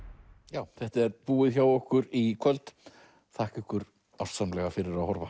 já þetta er búið hjá okkur í kvöld þakka ykkur ástsamlega fyrir að horfa